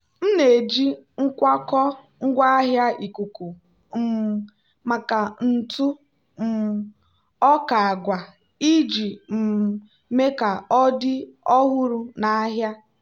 m na-eji nkwakọ ngwaahịa ikuku um maka ntụ um ọka agwa iji um mee ka ọ dị ọhụrụ na ahịa.